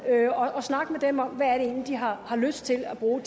og snakke med dem om hvad ældre egentlig har lyst til at bruge